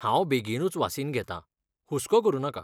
हांव बेगीनूच वासीन घेतां, हुस्को करु नाका.